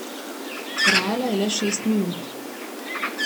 Trajala je le šest minut.